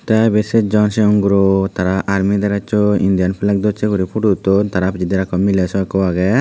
teh ebeh sejjon sigon guroh tara army drecchoi Indian flag dojse gori photo uttun tara pijedi aroh ekku mileh soh ageh.